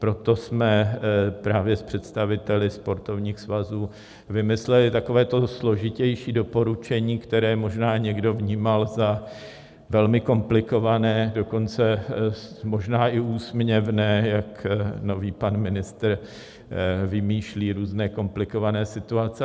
Proto jsme právě s představiteli sportovních svazů vymysleli takové to složitější doporučení, které možná někdo vnímal za velmi komplikované, dokonce možná i úsměvné, jak nový pan ministr vymýšlí různé komplikované situace.